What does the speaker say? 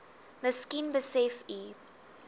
miskien besef u